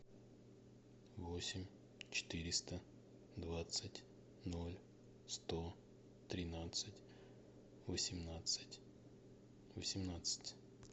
восемь четыреста двадцать ноль сто тринадцать восемнадцать восемнадцать